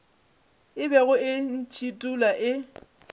e bego e ntšhithola e